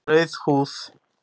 Rauð húð